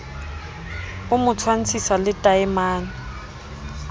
o mo tshwantshisa le taemane